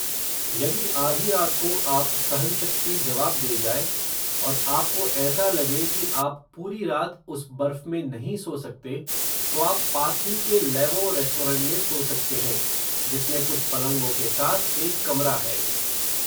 यदि आधी रात को आप, सहन शक्ति जवाब दे जाए, और आपको ऐसा लगे, कि आप पूरी रात उस बर्फ़ में नहीं सो सकते, तो आप पास ही के लैवो रेस्टॉरेंट में सो सकते हैं, जिसमें कुछ पलंगों के साथ, एक कमरा है